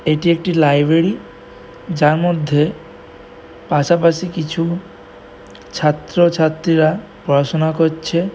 এটি একটি লাইবেরী যার মধ্যে পাশাপাশি কিছু ছাত্র ছাত্রীরা পড়াশুনা করছে ।